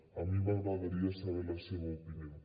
a mi m’agradaria saber ne la seva opinió